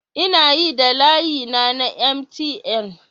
Ina yi da layina na MTN